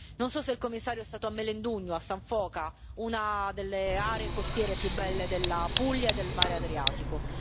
Non so se il Commissario è stato a Melendugno, a San Foca, una delle aree costiere più belle della Puglia e del Mar Adriatico.